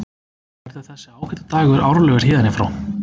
Verður þessi ágæti dagur árlegur héðan í frá?